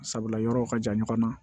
Sabula yɔrɔw ka jan ɲɔgɔn na